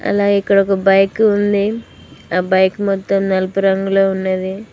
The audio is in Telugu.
అలా ఇక్కడ ఒక బైక్ ఉంది ఆ బైక్ మొత్తం నలుపు రంగులో ఉన్నది.